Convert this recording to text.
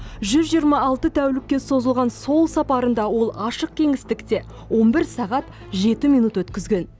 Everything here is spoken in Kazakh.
жүз жиырма алты тәулікке созылған сол сапарында ол ашық кеңістікте он бір сағат жеті минут өткізген